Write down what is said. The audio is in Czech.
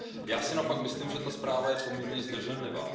Já si naopak myslím, že ta zpráva je poměrně zdrženlivá.